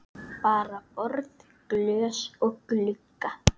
Bara borð, glös og glugga.